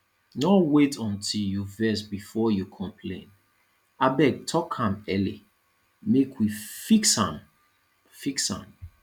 no wait until you vex before you complain abeg talk am early make we fix am fix am